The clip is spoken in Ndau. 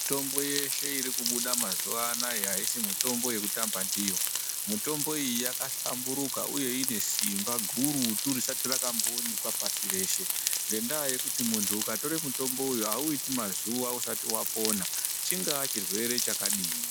Mitombo yeshe iri kubuda mazuva anaya haisi mitombo yekutamba ndiyo. Mutombo iyi yakahlamburuka uye ine simba gurutu risati rakamboonekwa pasi reshe, ngendaa yekuti muntu ukatore mutombo uyu hauiti mazuwa usati wapona, chingaa chirwere chakadini.